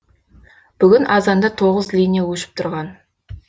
бүгін азанда тоғыз линия өшіп тұрған